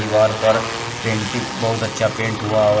दिवार पर पेंटिंग बहुत अच्छा पेंट हुवा हुआ है।